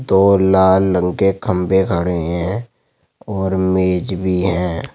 दो लाल रंग के खम्बे खड़े हैं और मेज भी हैं।